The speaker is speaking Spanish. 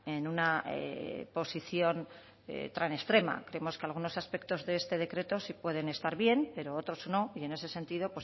en una posición tan extrema creemos que algunos aspectos de este decreto sí pueden estar bien pero otros no y en ese sentido